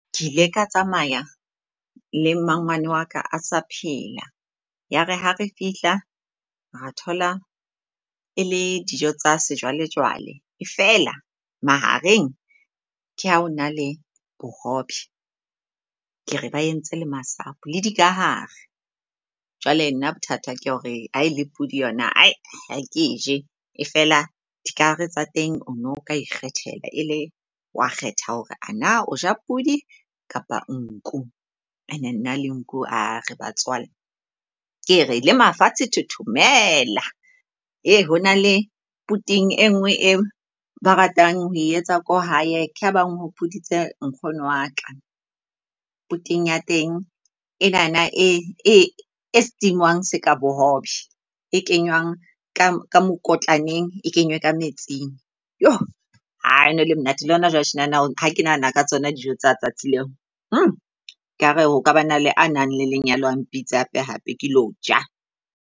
Ke ile ka tsamaya le mmangwane wa ka a sa phela. Ya re ha re fihla ra thola e le dijo tsa sejwalejwale. E feela mahareng, ke ha ho na le bohobe ke re ba entse le masapo le dikahare. Jwale nna bothata ke hore ha ele pudi yona , ha ke eje. E feela dikahare tsa teng o no ka ikgethela ele wa kgetha hore ana o ja pudi kapa nku. And nna le nku re batswalle. Ke re le mafatshe thothomela. Ee, hona le puting e ngwe, e ba ratang ho etsa ko hae. Ke ha bang hopoditse nkgono wa ka. Puting ya teng e nana e steam-ngwang seka bohobe e kenywang ka mokotlaneng e kenywe ka metsing. Yoh ae hono le monate, e le hona jwale tjenana ha ke nahana ka tsona dijo tsa tsatsi leo . Nka re ho ka ba na le a nang le lenyalo, a mpitse hape hape ke lo ja.